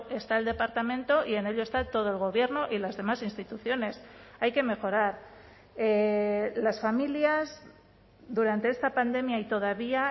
está el departamento y en ello está todo el gobierno y las demás instituciones hay que mejorar las familias durante esta pandemia y todavía